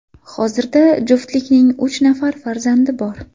Hozirda juftlikning uch nafar farzandi bor.